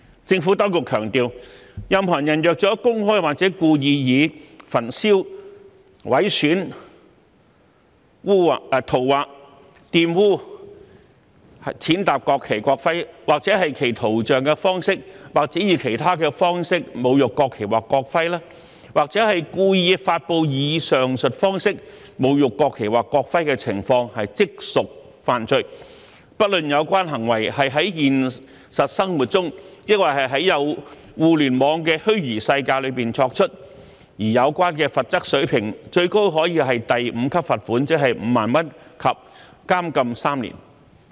政府當局強調，任何人若公開及故意以焚燒、毀損、塗劃、玷污、踐踏國旗、國徽或其圖像的方式或以其他方式侮辱國旗或國徽，或故意發布以上述方式侮辱國旗或國徽的情況，即屬犯罪，不論有關行為是在現實生活中，抑或在互聯網的虛擬世界中作出，而有關的罰則水平最高可為第5級罰款及監禁3年。